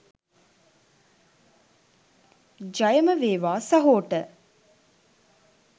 ජයම වේවා සහෝට .